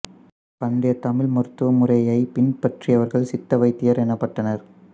பண்டைய தமிழ் மருத்துவ முறையைப் பின்பற்றியவர்கள் சித்த வைத்தியர் எனப்பட்டனர்